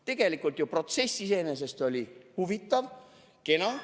Tegelikult oli protsess iseenesest ju huvitav ja kena.